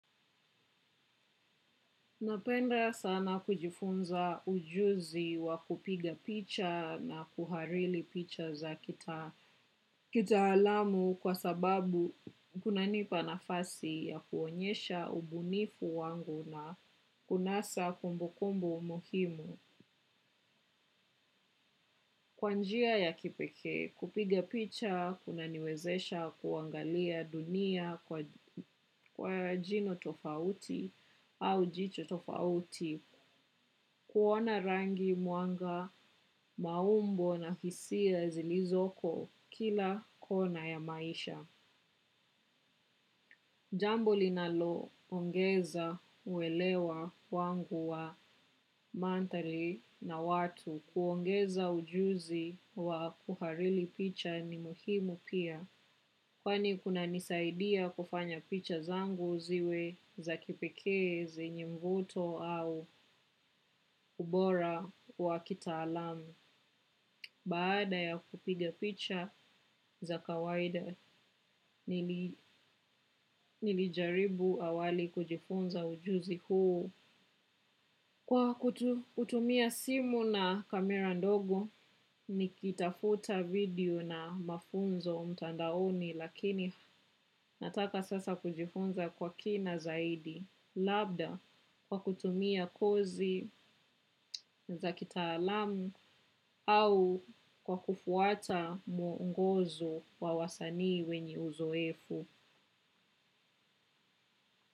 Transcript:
Napenda sana kujifunza ujuzi wa kupiga picha na kuhariri picha za kitaalamu kwa sababu kunanipa nafasi ya kuonyesha ubunifu wangu na kunasa kumbukumbu muhimu. Kwa njia ya kipekee, kupiga picha, kunaniwezesha kuangalia dunia kwa njia tofauti au jicho tofauti, kuona rangi mwanga maumbo na hisia zilizoko kila kona ya maisha. Jambo linaloongeza uelewa wangu wa mandhari na watu kuongeza ujuzi wa kuhariri picha ni muhimu pia. Kwani kunanisaidia kufanya picha zangu ziwe za kipekee zenye mvuto au ubora wa kitaalamu. Baada ya kupiga picha za kawaida nilijaribu awali kujifunza ujuzi huu. Kwa kutumia simu na kamera ndogo nikitafuta video na mafunzo mtandaoni lakini nataka sasa kujifunza kwa kina zaidi. Labda kwa kutumia kozi za kitaalamu au kwa kufuata mwongozo wa wasanii wenye uzoefu.